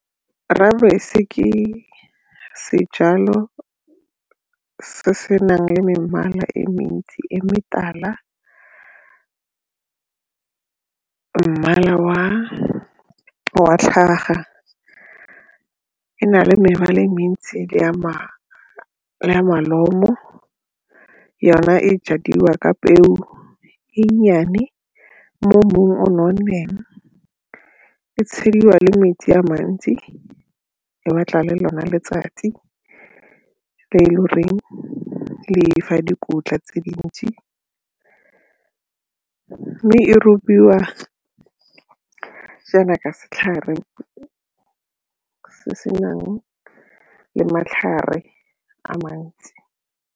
Rooibos ke sejalo se se nang le mebala e mentsi e metala, mmala wa tlhaga, e na le mebala e metsi le ya molomo yona e jadiwa ka peo e nnyane mo mmung o o nonneng, e tsheliwa le metsi a mantsi e batla le lona letsatsi le e le goreng le fa dikotla tse dintsi mme e robiwa jaana ka setlhare se senang le matlhare a mantsi.